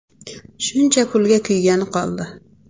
Shuncha pulga kuygani qoldi.